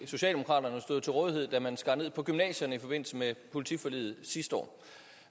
socialdemokraterne stod jo til rådighed da man skar ned på gymnasierne i forbindelse med politiforliget sidste år